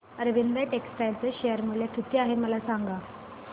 अरविंद टेक्स्टाइल चे शेअर मूल्य किती आहे मला सांगा